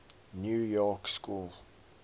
new york school